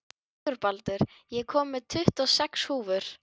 Sigurbaldur, ég kom með tuttugu og sex húfur!